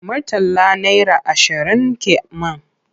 Murtala naira ashirin ke man.